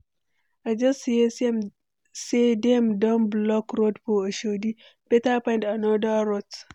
I just hear say dem don block road for Oshodi, better find another route.